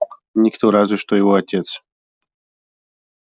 никто разве что его отец